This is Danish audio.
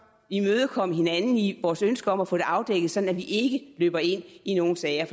imødekomme hinanden i vores ønske om at få det afdækket sådan at vi ikke løber ind i nogen sager